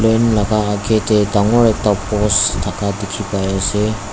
akae tae dangor ekta post thaka dikhipaiase.